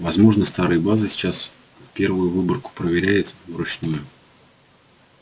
возможно старые базы сейчас первую выборку проверяют вручную